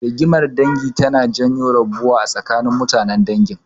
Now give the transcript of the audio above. Rigimar dangi tana janyo rabuwa da gaba a tsakanin mutanen dangin.